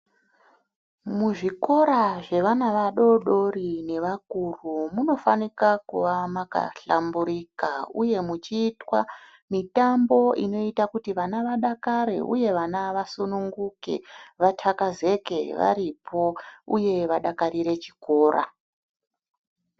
Muzvikora zvevana vadoodori nevakuru munofanika kuva makahlamburika uye muchiitwa mitambo inoita kuti vana vadakare uye vana vasunguke, vathakazeke varipo uye vadakarire chikora.